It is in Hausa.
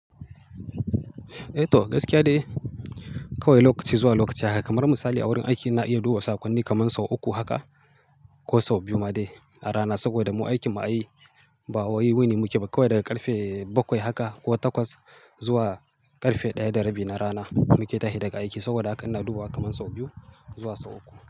Eh to, gaskiya dai kawai lokaci zuwa lokaci haka. Kamar misali a wurin aiki ina iya duba sakonni kaman sau uku haka ko sau biyu ma dai a rana saboda mu aikin mu ai ba wai wuni mu ke ba kawai daga karfe bakwai haka ko takwas zuwa karfe ɗaya da rabi na rana muke tashi daga aiki. Saboda haka ina duba kaman sau biyu zuwa sau uku.